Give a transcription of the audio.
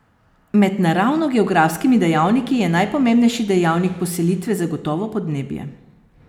Med naravnogeografskimi dejavniki je najpomembnejši dejavnik poselitve zagotovo podnebje.